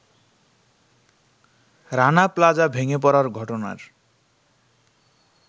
Rana Plaza ভেঙে পড়ার ঘটনার